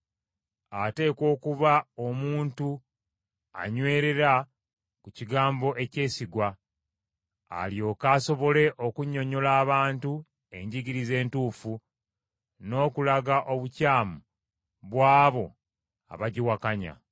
Ateekwa okuba omuntu anywerera ku kigambo ekyesigwa, alyoke asobole okunnyonnyola abantu enjigiriza entuufu, n’okulaga obukyamu bw’abo abagiwakanya.